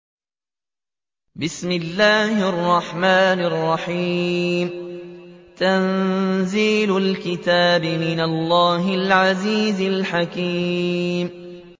تَنزِيلُ الْكِتَابِ مِنَ اللَّهِ الْعَزِيزِ الْحَكِيمِ